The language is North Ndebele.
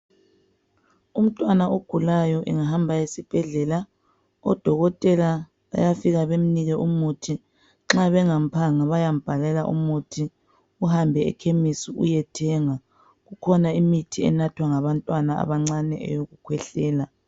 Umntwana ogulayo angahamba esibhhedlela odokotela bayafika bemnike umuthi nxa bengamphanga bayambhalela umuthi uhambe ekhemesi eyethenga kukhona imiti enathwa ngabantwana abancane yokukwehlela.